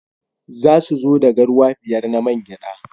Za su zo da garwa biyar na man gyada.